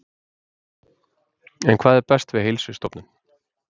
En hvað er best við Heilsustofnun?